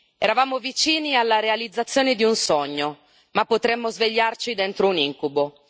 Eravamo vicini alla realizzazione di un sogno, ma potremmo svegliarci dentro un incubo.